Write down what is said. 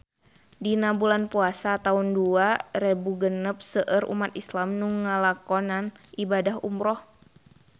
Dina bulan Puasa taun dua rebu genep seueur umat islam nu ngalakonan ibadah umrah